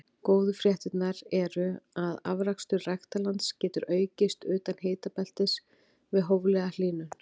Góðu fréttirnar eru að afrakstur ræktarlands getur aukist utan hitabeltis við hóflega hlýnun.